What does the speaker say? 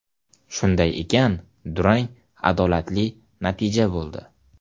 Shunday ekan, durang adolatli natija bo‘ldi.